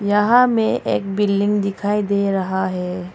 यहां मैं एक बिल्डिंग दिखाई दे रहा है।